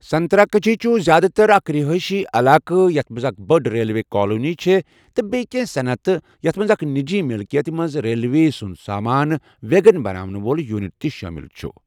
سنتراگچھی چھُ زِیٛادٕ تَر اکھ رہٲئشی علاقہٕ یَتھ منٛز اکھ بٔڑۍ ریلوے کَالنی چھےٚ تہِ بییٚہِ کینٛہہ صنعتہٕ، یَتھ منٛز اکھ نِجی مِلکیتہِ منٛز ریلوے سُنٛد سامان ویگن بناونہٕ وول یونٹ شٲمِل چھُ۔